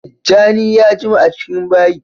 Tijjani ya jima a cikin bayi